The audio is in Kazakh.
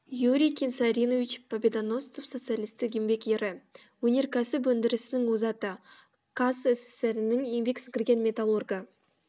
юрий кенсоринович победоносцев социалистік еңбек ері өнеркәсіп өндірісінің озаты қазсср інің еңбек сіңірген металлургы